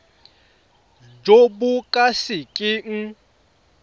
jo bo ka se keng